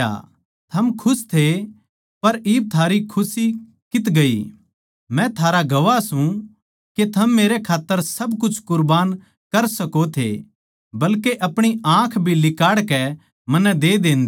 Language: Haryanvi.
थम खुश थे पर इब थारी खुशी कित्त गई मै थारा गवाह सूं के थम मेरे खात्तर सब कुछ कुरबान कर सको थे बल्के अपणी आँख भी लिकाड़कै मन्नै दे देन्दे